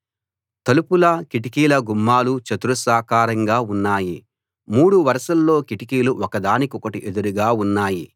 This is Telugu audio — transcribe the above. తలుపుల కిటికీల గుమ్మాలు చతురస్రాకారంగా ఉన్నాయి మూడు వరసల్లో కిటికీలు ఒకదానికొకటి ఎదురుగా ఉన్నాయి